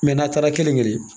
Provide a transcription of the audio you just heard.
n'a taara kelen kelen